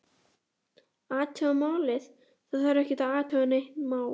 Athuga málið, það þarf ekki að athuga nein mál